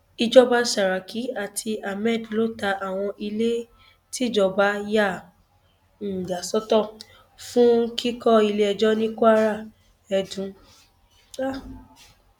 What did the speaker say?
ìjọba saraki àti ahmed ló ta àwọn ilé tíjọba yà um sọtọ fún kíkọ iléẹjọ ní kwara edun um